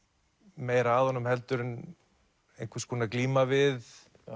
meira að honum heldur en einhvers konar glíma við